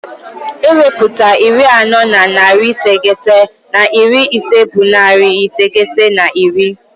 Ewepụta iri anọ na narị iteghete na iri ise bụ narị iteghete na iri.